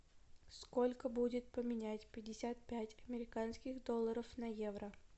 сколько будет поменять пятьдесят пять американских долларов на евро